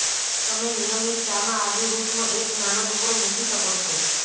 તમે નિયમિત ચામાં આદુ રુટનો એક નાનો ટુકડો મૂકી શકો છો